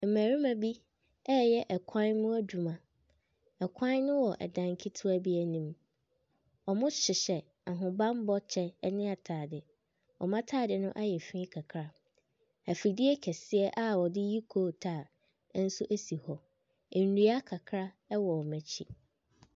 Mmarima bi ɛreyɛ kwan ho adwuma, kwan ne wɔ dan ketewa bi anim, wɔhyehyɛ ahobammɔ kyɛw ne ataade, wɔn ataade no ayɛ fii kakra. Afidie kɛseɛ a wɔde yi kootaa nso si hɔ, nnua kakra wɔ wɔn akyi.